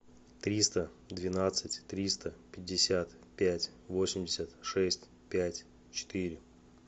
триста двенадцать триста пятьдесят пять восемьдесят шесть пять четыре